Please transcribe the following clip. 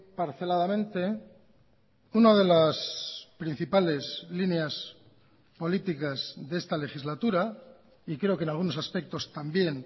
parceladamente una de las principales líneas políticas de esta legislatura y creo que en algunos aspectos también